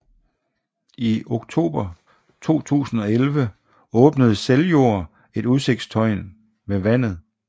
I oktober 2011 åbnede Seljord et udsigtstårn ved vandet